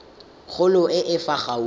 kgolo e e fa gaufi